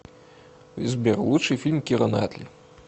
сбер лучший фильм кира натли